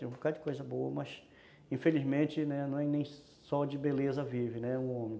Um bocadinho de coisa boa, mas, infelizmente, não é nem só de beleza vive, né? O homem.